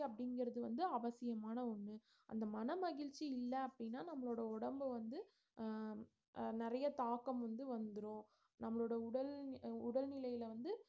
அப்படிங்கறது வந்து அவசியமான ஒண்ணு அந்த மனமகிழ்ச்சி இல்ல அப்படின்னா நம்மளோட உடம்பு வந்து அஹ் அஹ் நிறைய தாக்கம் வந்து வந்துரும் நம்மளோட உடல் உடல் நிலைல வந்து